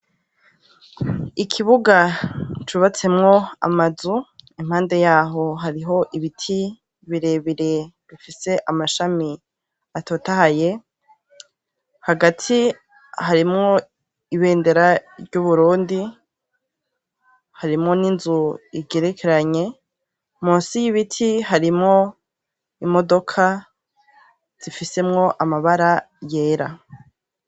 Ikibuga cubatsemwo amazu, impande yaho hariho ibiti birebire bifise amashami atotahaye, hagati harimwo ibendera ry' Uburundi, harimwo n' inzu igerekeranye, munsi y' ibiti harimwo imodoka zifisemwo amabara yera.